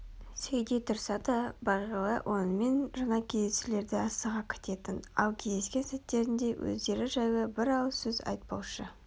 сөйте тұрса да бағила онымен жаңа кездесулерді асыға күтетін ал кездескен сәттерінде өздері жайлы бір ауыз сөз айтпаушы